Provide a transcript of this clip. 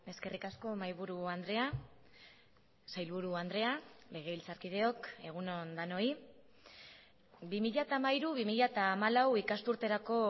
eskerrik asko mahaiburu andrea sailburu andrea legebiltzarkideok egun on denoi bi mila hamairu bi mila hamalau ikasturterako